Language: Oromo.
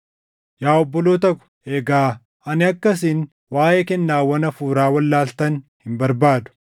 Yaa obboloota ko, egaa ani akka isin waaʼee kennaawwan hafuuraa wallaaltan hin barbaadu.